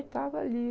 E tava ali.